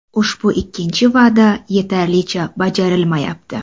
Ushbu ikkinchi va’da yetarlicha bajarilmayapti.